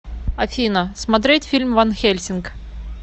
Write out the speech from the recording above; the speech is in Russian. афина смотерть фильм ванхельсинг